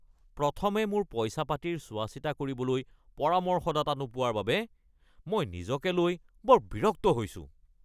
প্ৰথমে মোৰ পইচা-পাতিৰ চোৱাচিতা কৰিবলৈ পৰামৰ্শদাতা নোপোৱাৰ বাবে মই নিজকে লৈ বৰ বিৰক্ত হৈছোঁ।